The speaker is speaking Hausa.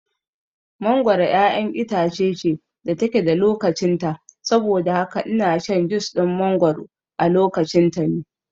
Mangoro ƴaƴar itace ce da take da lokacin ta saboda haka ina shan jus ɗin mangoro a lokacin ta ne